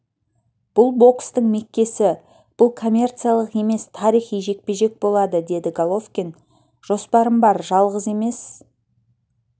бұл бокстың меккесі бұл коммерциялық емес тарихи жекпе-жек болады деді головкин жоспарым бар жалғыз емес